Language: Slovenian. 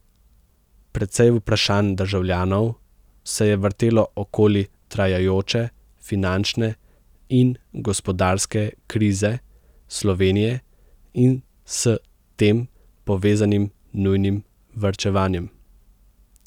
Precej vprašanj državljanov se je vrtelo okoli trajajoče finančne in gospodarske krize Slovenije in s tem povezanim nujnim varčevanjem.